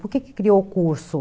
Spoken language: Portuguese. Por que criou o curso?